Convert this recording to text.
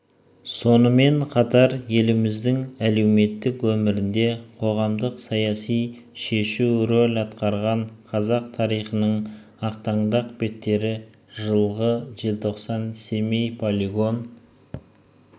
сонымен қатар еліміздің әлеуметтік өмірінде қоғамдық саяси-шешу рөл атқарған қазақ тарихының ақтаңдақ беттері жылғы желтоқсан семей-полигон